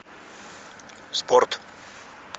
спорт